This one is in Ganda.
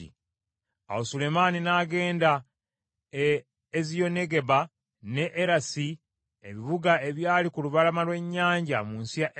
Awo Sulemaani n’agenda e Eziyonigeba n’e Erosi ebibuga ebyali ku lubalama lw’ennyanja mu nsi ya Edomu.